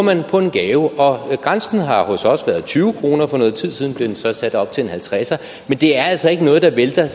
gave og grænsen har hos os været tyve kroner for noget tid siden blev den så sat op til en halvtredser men det er altså ikke noget der vælter